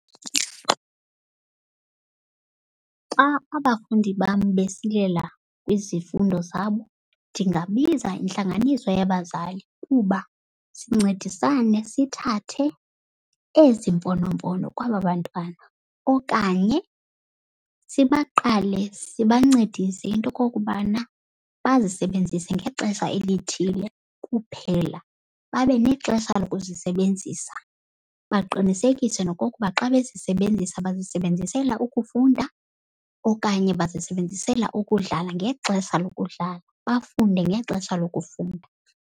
Xa abafundi bam besilela kwizifundo zabo ndingabiza intlanganiso yabazali kuba sincedisane sithathe ezi mfonomfono kwaba bantwana. Okanye sibaqale sibancedise into yokokubana bazisebenzise ngexesha elithile kuphela. Babe nexesha lokuzisebenzisa, baqinisekise nokokuba xa bezisebenzisa bazisebenzisela ukufunda okanye bazisebenzisela ukudlala ngexesha lokudlala, bafunde ngexesha lokufunda.